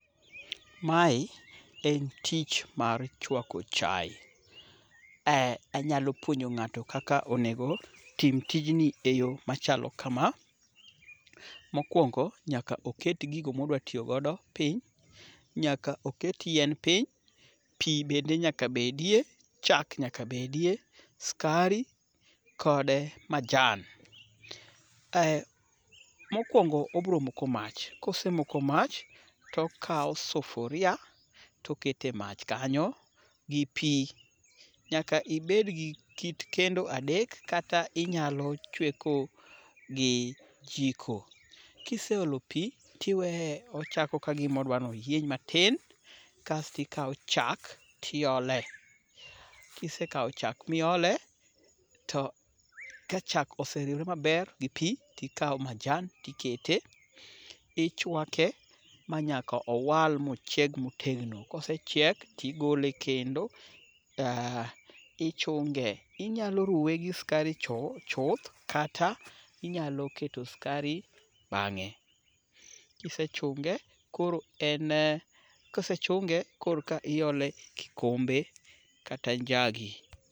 Mae en tich mar chwako chaye. Anyalo puonjo ng'ato kaka onego otim tijni e yo machalo kama. Mokwongo, nyaka oket gigo ma odwa tiyo godo piny. Nyaka oket yien piny. Pi bende nyaka bedie. Chak nyaka bedie. Skari kod majan. Mokwongo obro moko mach, kosemoko mach, tokawo sufuria toketo e mach kanyo, gi pii . Nyaka ibed gi kit kendo adek kata inyalo chweko gi jiko. Kiseolo pi, ti weye ochako ka gimo dwa noyieny matin, kasti kawo chak tiole. Kisekawo chak miole, ka chak oseriwre maber gi pi, tikawo majan tikete. Ichwake ma nyaka owal mochieg motegno. Kosechiek, tigole e kendo. Ichunge, inyalo ruwe gi skari chuth ,kata inyalo keto skari bang'e. Kisechunge, koro en koreka iole e kikombe kata njagi